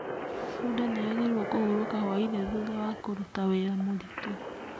Bunda nĩ yagĩrĩirwo kũhurũka hwaĩinĩ thutha wa kũrũta wĩra mũritũ.